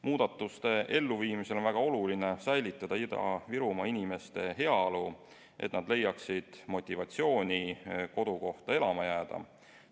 Muudatuste elluviimisel on väga oluline säilitada Ida-Virumaa inimeste heaolu, et nad leiaksid motivatsiooni kodukohta elama jääda.